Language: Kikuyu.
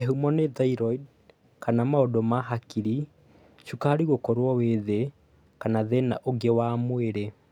Kĩhumo nĩ thyroid kana maũndũ ma hakiri, cukari gũkorwo wĩ thĩ kana thĩna ũngĩ wa mwĩrĩ.